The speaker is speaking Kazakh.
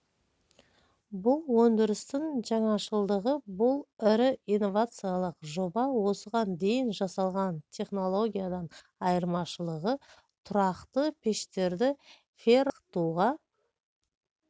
бұл өндірістің жаңашылыдығы бұл ірі инновациялық жоба осыған дейін жасалған технологиядан айырмашылығы тұрақты пештерді феррохромға балқытуға